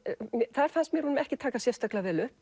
þar fannst mér honum ekki takast sérstaklega vel upp